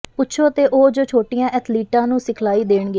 ਪੁੱਛੋ ਅਤੇ ਉਹ ਜੋ ਛੋਟੀਆਂ ਐਥਲੀਟਾਂ ਨੂੰ ਸਿਖਲਾਈ ਦੇਣਗੇ